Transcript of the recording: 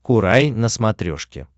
курай на смотрешке